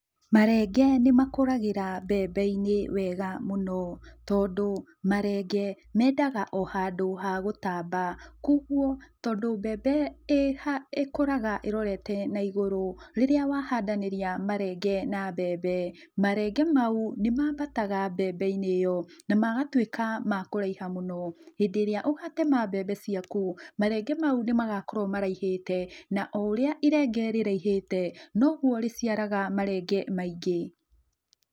Marenge nĩ makũragĩra mbembeinĩ wega mũno, tondũ marenge mendaga o handũ ha gũtamba koguo tondũ mbembe ĩkũraga ĩrorete na igũrũ, rĩrĩa wahandanĩria marenge na mbembe, marenge mau nĩmambataga mbembeinĩ ĩyo na magatuĩka ma kũraiha mũno, hĩndĩ ĩrĩa ũgatema mbembe ciaku marenge mau nĩmagakorwo maraihĩte na o ũrĩa irenge rĩraihĩte noguo rĩciaraga marenge maingĩ.